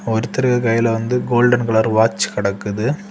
ஒருத்தரு கையில வந்து கோல்டன் கலர் வாட்ச் கடக்குது.